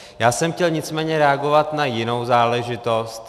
Já jsem chtěl nicméně reagovat na jinou záležitost.